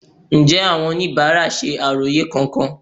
Ǹjẹ́ àwọn oníbàárà ṣe àròyé kankan?